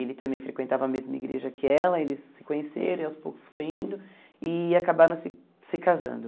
Ele também frequentava a mesma igreja que ela, eles se conheceram, e aos poucos foi indo, e acabaram se se casando.